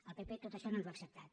el pp tot això no ens ho ha acceptat